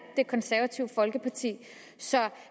det konservative folkeparti så